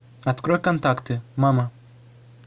открой контакты мама